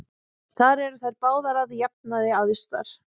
Þar eru þær báðar að jafnaði æðstar.